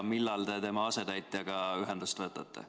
Millal te tema asetäitjaga ühendust võtate?